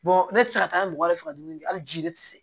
ne tɛ se ka taa mɔgɔ wɛrɛ fɛ dumuni kɛ hali ji ne tɛ se